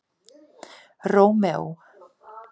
Rómeó